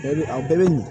Bɛɛ bɛ a bɛɛ bɛ ɲɛ